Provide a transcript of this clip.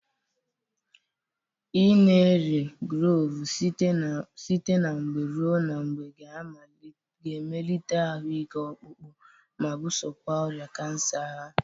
Ị na-eri kloovu site na mgbe ruo na mgbe ga-emelite ahụ ike ọkpụkpọ, ma bụsokwa ọrịa kansa agha.